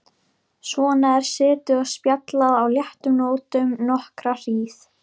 Svona er setið og spjallað á léttum nótum nokkra hríð.